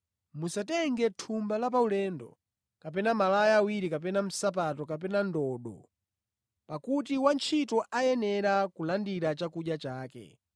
musatenge thumba la paulendo, kapena malaya awiri kapena nsapato kapena ndodo; pakuti wantchito ayenera kulandira chakudya chake.